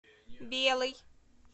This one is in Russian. белый